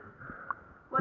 um